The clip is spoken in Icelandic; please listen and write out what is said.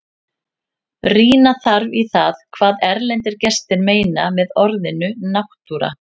Rýna þarf í það hvað erlendir gestir meina með orðinu náttúra.